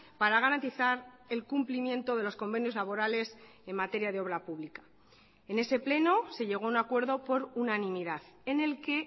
para garantizar el cumplimiento de los convenios laborales en materia de obra pública en ese pleno se llegó a un acuerdo por unanimidad en el que